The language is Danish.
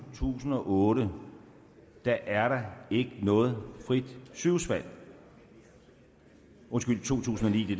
tusind og otte er der ikke noget frit sygehusvalg undskyld to tusind og ni det